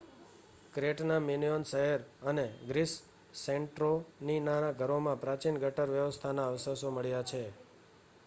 ક્રેટના Minoan શહેરો અને ગ્રીસનાસેન્ટોરીનીના ઘરોમાં પ્રાચીન ગટર વ્યવસ્થાના અવશેષ મળ્યા છે